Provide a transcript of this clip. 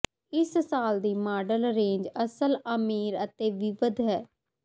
ਇਸ ਸਾਲ ਦੀ ਮਾਡਲ ਰੇਂਜ ਅਸਲ ਅਮੀਰ ਅਤੇ ਵਿਵਿਧ ਹੈ